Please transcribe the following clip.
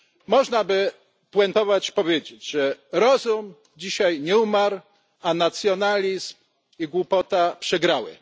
Można by spuentować i powiedzieć, że rozum dzisiaj nie umarł, a nacjonalizm i głupota przegrały.